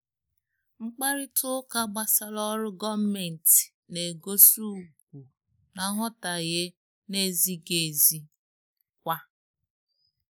mkparịta ụka gbasara ọrụ gọọmentị na-egosi ugwu na nghọtahie na-ezighị ezi kwa.